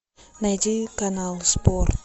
найди канал спорт